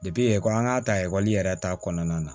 ekɔli an ka ta ekɔli yɛrɛ ta kɔnɔna na